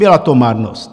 Byla to marnost.